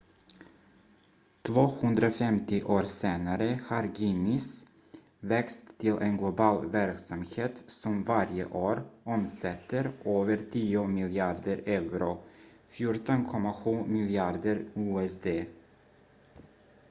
250 år senare har guinness växt till en global verksamhet som varje år omsätter över tio miljarder euro 14,7 miljarder usd